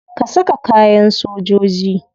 Ka saka kayan sojoji.